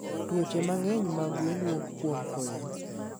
tuoche mangeny mag gwen wuok kuom koyo